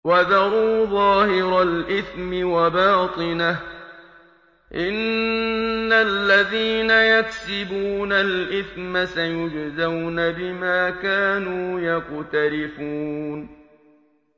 وَذَرُوا ظَاهِرَ الْإِثْمِ وَبَاطِنَهُ ۚ إِنَّ الَّذِينَ يَكْسِبُونَ الْإِثْمَ سَيُجْزَوْنَ بِمَا كَانُوا يَقْتَرِفُونَ